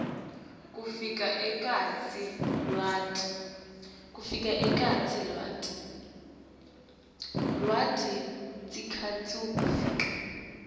kufaka ekhatsi lwati